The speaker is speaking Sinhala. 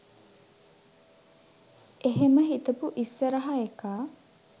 එහෙම හිතපු ඉස්සරහ එකා